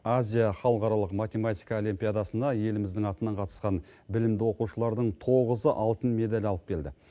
азия халықаралық математика олимпиадасына еліміздің атынан қатысқан білімді оқушылардың тоғызы алтын медаль алып келді